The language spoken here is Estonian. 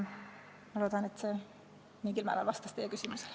Ma loodan, et see mingil määral vastas teie küsimusele.